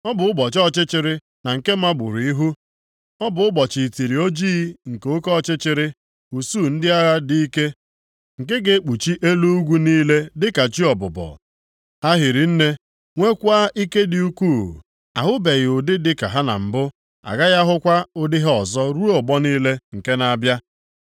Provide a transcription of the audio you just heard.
Ọ bụ ụbọchị ọchịchịrị na nke mgbarụ ihu. Ọ bụ ụbọchị itiri ojii nke oke ọchịchịrị. Usuu ndị agha dị ike nke ga-ekpuchi elu ugwu niile dịka chi ọbụbọ. Ha hiri nne, nweekwa ike dị ukwuu. Ahụbeghị ụdị dịka ha na mbụ, a gaghị ahụkwa ụdị ha ọzọ ruo ọgbọ niile nke na-abịa.